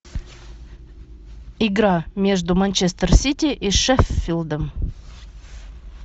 игра между манчестер сити и шеффилдом